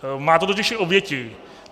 Má to totiž i oběti.